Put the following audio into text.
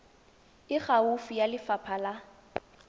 e gaufi ya lefapha la